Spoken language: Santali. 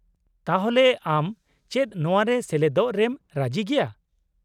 -ᱛᱟᱦᱚᱞᱮ ᱟᱢ ᱪᱮᱫ ᱱᱚᱣᱟ ᱨᱮ ᱥᱮᱞᱮᱫᱚᱜ ᱨᱮᱢ ᱨᱟᱹᱡᱤᱜᱮᱭᱟ ?